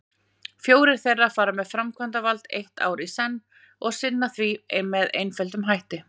Fjórir þeirra fara með framkvæmdavald eitt ár í senn og sinna því með einföldum hætti.